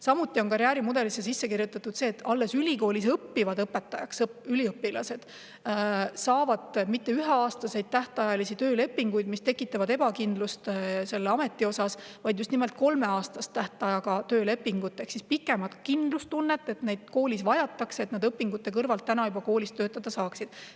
Samuti on karjäärimudelisse sisse kirjutatud see, et alles õpetajaks õppivad üliõpilased ei saa mitte üheaastase tähtajaga töölepingut, mis tekitab selle ameti ebakindlust, vaid just nimelt kolmeaastase tähtajaga töölepingu ehk kindlustunde, et neid koolis vajatakse, et nad juba õpingute kõrvalt koolis töötada saaksid.